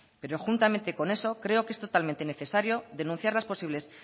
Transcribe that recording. pero juntamente con eso creo que es totalmente necesario denunciar las posibles